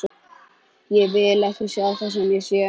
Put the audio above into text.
Ég vil ekki sjá það sem ég sé.